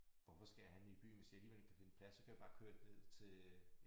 Hvorfor skal jeg handle i byen hvis jeg alligevel ikke kan finde plads så kan jeg bare køre ned til øh